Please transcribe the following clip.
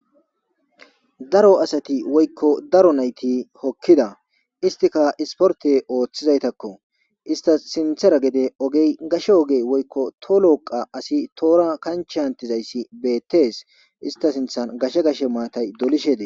Daro asati woyikko daro nayti hokkidda istikka isporet oththizaytakko istas sinththara gashshe ogey woyikko to loqay asi toora kanchche hantizayss bettes ista sinththan gashshe gashshe matay dolishshe des